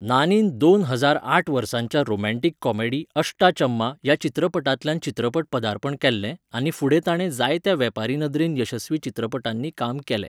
नानीन दोन हजार आठ वर्साच्या रोमँटीक कॉमेडी 'अष्टा चम्मा' ह्या चित्रपटांतल्यान चित्रपट पदार्पण केलें आनी फुडें ताणें जायत्या वेपारी नदरेन यशस्वी चित्रपटांनी काम केलें.